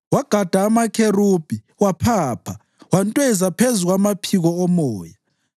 Wagada amakherubhi waphapha; wantweza phezu kwamaphiko omoya.